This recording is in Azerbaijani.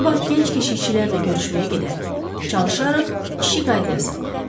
Sabah gənc keşikçilərlə görüşməyə gedərik, çalışarıq işi qaydaya salaq.